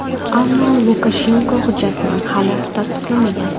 Ammo Lukashenko hujjatni hali tasdiqlamagan.